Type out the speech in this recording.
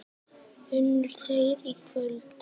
Unnu þeir í kvöld?